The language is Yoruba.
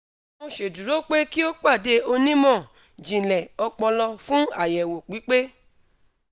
mo ṣeduro pe ki o pade onimọ-jinlẹ opolo fun ayewo pipe